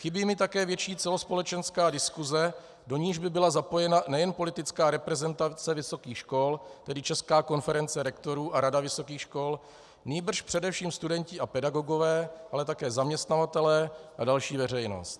Chybí mi také větší celospolečenská diskuse, do níž by byla zapojena nejen politická reprezentace vysokých škol, tedy Česká konference rektorů a Rada vysokých škol, nýbrž především studenti a pedagogové, ale také zaměstnavatelé a další veřejnost.